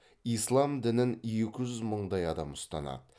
ислам дінін екі жүз мыңдай адам ұстанады